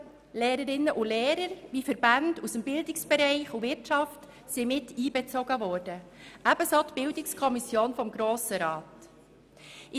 Lehrerinnen und Lehrer sowie Verbände aus den Bereichen Bildung und Wirtschaft wurden miteinbezogen, ebenso wie die Bildungskommission des Grossen Rats.